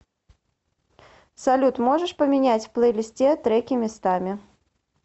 салют можешь поменять в плейлисте треки местами